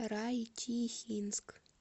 райчихинск